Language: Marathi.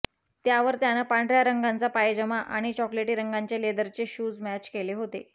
यावर त्यानं पांढऱ्या रंगाचा पायजमा आणि चॉकलेटी रंगाचे लेदरचे शूज मॅच केले होते